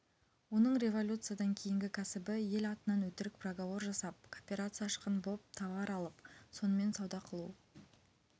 оның революциядан кейінгі кәсібі ел атынан өтірік проговор жасап кооперация ашқан боп товар алып сонымен сауда қылу